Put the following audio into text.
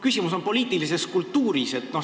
Küsimus on poliitilises kultuuris.